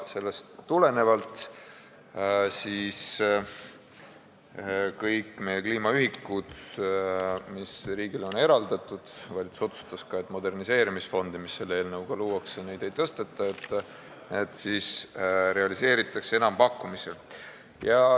Sellest tulenevalt kõik meie kliimaühikud, mis riigile on eraldatud – valitsus otsustas ka, et moderniseerimisfondi, mis selle eelnõuga luuakse, neid ei tõsteta –, realiseeritakse enampakkumisel.